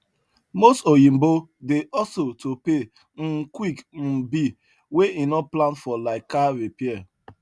most oyinbo dey hustle to pay um quick um bill wey e no plan for like car repair